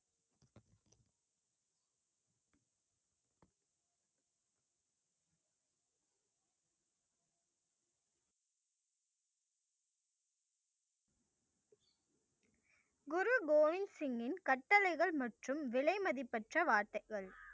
குரு கோவிந்த்சிங் இன் கட்டளைகள் மற்றும் விலைமதிப்பற்ற வார்த்தைகள்.